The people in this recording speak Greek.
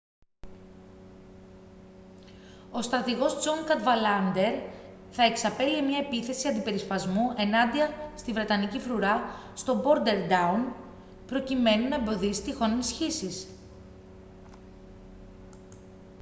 ο στρατηγός τζον καντβαλάντερ θα εξαπέλυε μια επίθεση αντιπερισπασμού ενάντια στη βρετανική φρουρά στο μπόρντερταουν προκειμένου να εμποδίσει τυχόν ενισχύσεις